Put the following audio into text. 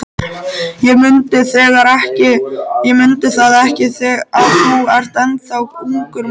Ég mundi það ekki, að þú ert ennþá ungur maður.